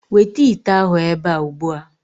Weta ite ahụ ebe a ugbu a.